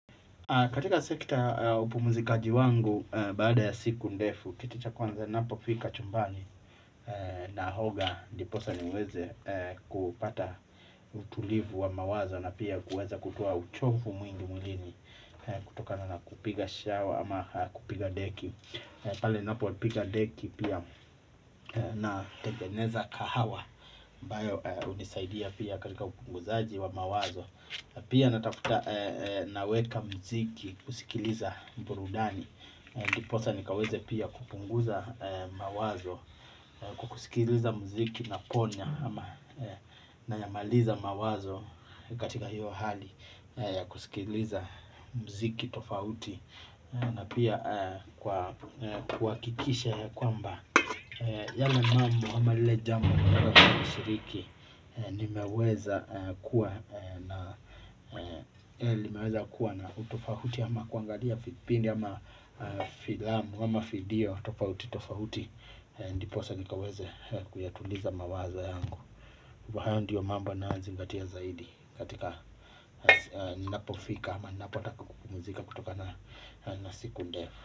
Katika sekta upumuzikaji wangu baada ya siku ndefu, kitu cha kwanza ninapofika chumbani, naoga ndiposa niweze kupata utulivu wa mawazo na pia kuweza kutoa uchofu mwingi mwilini kutokana na kupiga shawa ama kupiga deki. Pale ninapo piga deki pia nategeneza kahawa ambayo hunisaidia pia katika upunguzaji wa mawazo. Pia natafuta naweka mziki kusikiliza burudani. Ndiposa nikaweze pia kupunguza mawazo. Kusikiliza mziki naponya ama nayamaliza mawazo katika hiyo hali. Kusikiliza mziki tofauti na pia kwa kuhakikisha kwamba yale mambo ama lile jambo nimeweza kushiriki, nimeweza kuwa nimeweza kuwa na utofauti ama kuangalia vipindi ama filamu ama video tofauti tofauti. Ndiposa nikaweze kuyatuliza mawazo yangu. Kwa hayo ndiyo mambo ninayozingatia zaidi. Katika ninapofika ama ninapotaka kupumzika kutokana siku ndefu.